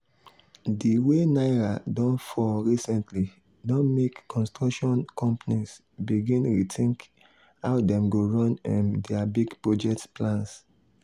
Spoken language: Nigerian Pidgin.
the way naira don fall recently don make construction companies begin rethink how dem go run um their big project plans.